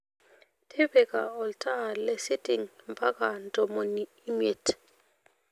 tipika olntaa lesiting mpaka ntomoni imiet